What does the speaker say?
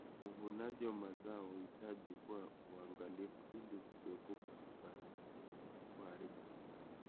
Uvunaji wa mazao unahitaji kuwa waangalifu ili kuepuka kuharibu.